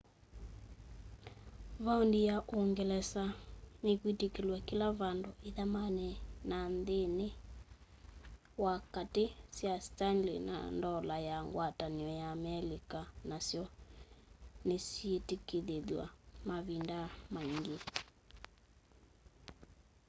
vaondi ya uungelesa nikwitikilw'a kila vandu ithamani na nthini wa kaati sya stanley na ndola ya ngwatanio ya amelikaonasyo nosyitikilothaw'a mavinda maingi